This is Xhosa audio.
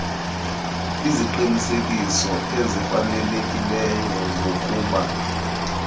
iziqinisekiso ezifanelekileyo zokuba